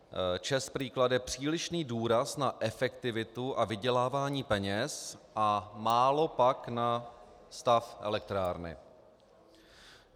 ČEZ prý klade přílišný důraz na efektivitu a vydělávání peněz a málo pak na stav elektrárny.